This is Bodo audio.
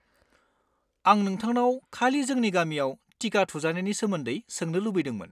आं नोंथांनाव खालि जोंनि गामियाव टिका थुजानायनि सोमोन्दै सोंनो लुबैदोंमोन।